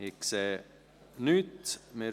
– Das ist nicht der Fall.